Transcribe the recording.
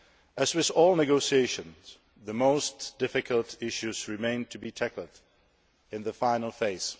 As with all negotiations, the most difficult issues remain to be tackled in the final phase.